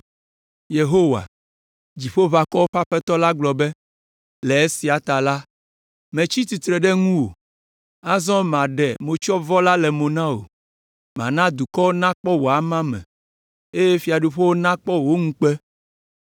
Yehowa, Dziƒoʋakɔwo ƒe Aƒetɔ la gblɔ be: “Le esia ta, metsi tsitre ɖe ŋuwò, azɔ maɖe motsyɔvɔ le mo na wò, mana dukɔwo nakpɔ wò amame, eye fiaɖuƒewo nakpɔ wò ŋukpe.